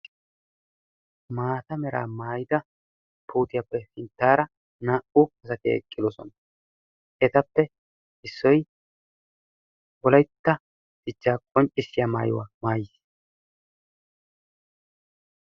Maata meraa maayida pooqiyaappe sinttaara naa"u asati eqqidosona. Etappe issoy wolaytta dichchaa qonccissiya maayuwa maayis.